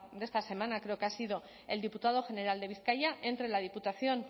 de esta semana creo que ha sido el diputado general de bizkaia entre la diputación